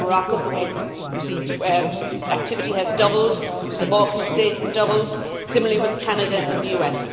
I mean, look at Morocco, at the way activity has doubled, the Balkan states, doubled, similarly with Canada and the US.